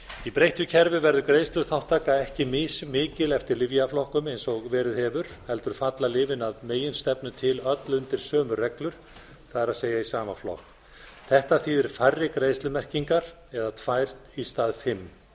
í breyttu kerfi verður greiðsluþátttaka ekki mismikil eftir lyfjaflokkum eins og verið hefur heldur falla lyfin að meginstefnu til öll undir sömu reglur það er í sama flokk þetta þýðir færri greiðslumerkingar eða tvær í stað fimm